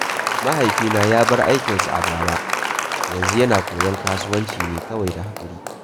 Mahaifina ya bar aikinsa a bara, yanzu yana koyon kasuwanci ne kawai da haƙuri.